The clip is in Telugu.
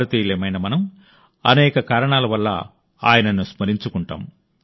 భారతీయులమైన మనం అనేక కారణాల వల్ల ఆయనను స్మరించుకుంటాం